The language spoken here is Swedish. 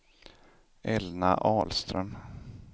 Elna Ahlström